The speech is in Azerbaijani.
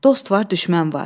Dost var, düşmən var.